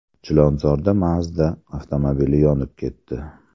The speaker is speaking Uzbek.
Chilonzorda Mazda avtomobili yonib ketdi .